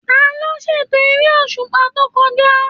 Taló ṣ'ètò èrè òṣùpá to kọjá?